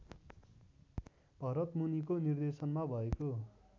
भरतमुनिको निर्देशनमा भएको